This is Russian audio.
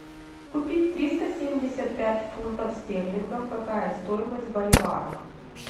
купить триста семьдесят пять фунтов стерлингов какая стоимость в боливарах